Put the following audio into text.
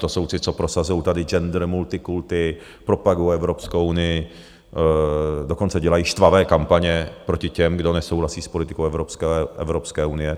To jsou ty, co prosazují tady gender, multikulti, propagují Evropskou unii, dokonce dělají štvavé kampaně proti těm, kdo nesouhlasí s politickou Evropské unie.